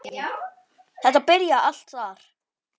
Þetta byrjaði allt þar.